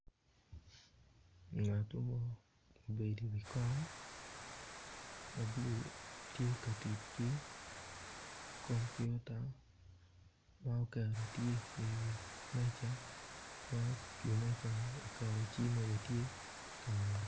Ngato mo obedo iwi kom ma bulu tye ka tic ki kompiota ma oketo tye iwi meja ma iwi mejani oketo cimme bene tye i kangete.